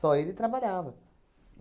ele trabalhava.